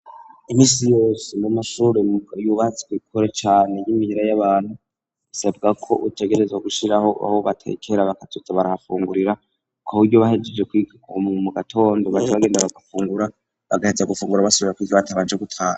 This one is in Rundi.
Iminsi yose mumamashuri yubatswe ikure cane y'imihira y'abantu isabwa ko utegereza gushiraho aho batekera bakaza barahafungurira kuburyo bahegeje kuiga ku m mu gatondo baje bagenda bagafungura bagahetsa gufungura batabanje gutaha.